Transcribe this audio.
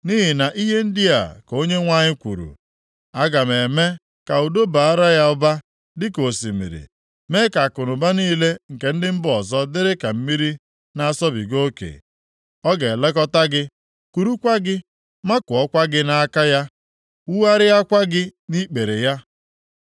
Nʼihi na ihe ndị a ka Onyenwe anyị kwuru, “Aga m eme ka udo bara ya ụba dịka osimiri, mee ka akụnụba niile nke ndị mba ọzọ dịrị ka mmiri na-asọbiga oke. Ọ ga-elekọta gị, kurukwa gị, makụọkwa gị nʼaka ya, wugharịakwa gị nʼikpere ya.